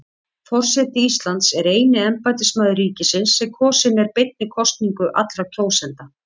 Forseti Íslands er eini embættismaður ríkisins sem kosinn er beinni kosningu allra kjósenda.